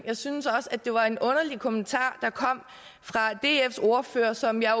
jeg synes også at det var en underlig kommentar der kom fra dfs ordfører som jeg